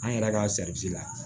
An yɛrɛ ka la